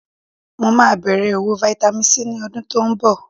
Mo máa bẹ̀rẹ̀ òwò Vitamin C ní ọdún tó ń bọ̀